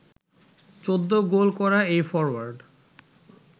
১৪ goal করা এই forward